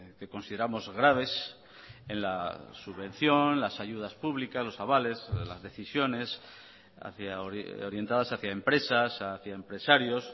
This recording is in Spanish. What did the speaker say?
que consideramos graves en la subvención las ayudas públicas los avales las decisiones orientadas hacia empresas hacia empresarios